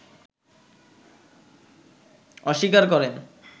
অস্বীকার করেন